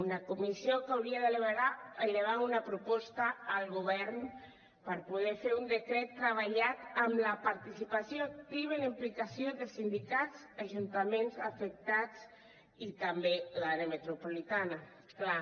una comissió que hauria d’elevar una proposta al govern per poder fer un decret treballat amb la participació activa i la implicació de sindicats ajuntaments afectats i també l’àrea metropolitana clar